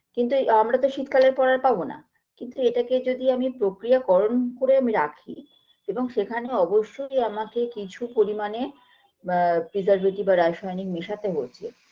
কিন্তু আমরা তো শীতকালের পরে আর পাবোনা কিন্তু এটাকে যদি আমি প্রক্রিয়াকরণ করে আমি রাখি এবং সেখানে অবশ্যই আমাকে কিছু পরিমাণে আ preservative বা রাসায়নিক মেশাতে হচ্ছে